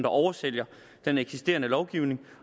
oversælger den eksisterende lovgivning